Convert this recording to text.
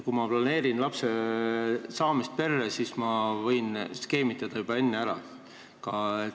Kui ma planeerin lapsesaamist, siis ma võin ka juba enne ära skeemitada.